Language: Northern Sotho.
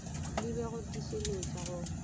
le b go tiišeletša go